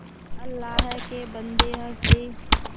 अल्लाह के बन्दे हंसदे